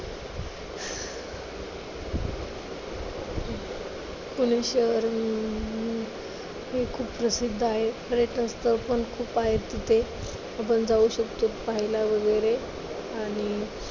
पुणे शहर अं हे खूप प्रसिद्ध आहे. पर्यटन स्थळं पण खूप आहत तिथे. आपण जाऊ शकतो पाहायला वगैरे आणि